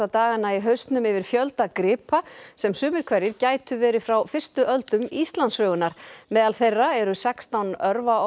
dagana í hausnum yfir fjölda gripa sem sumir hverjir gætu verið frá fyrstu öldum Íslandssögunnar meðal þeirra eru sextán